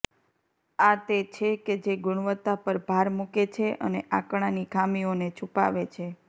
આ તે છે કે જે ગુણવત્તા પર ભાર મૂકે છે અને આંકડાની ખામીઓને છુપાવે છે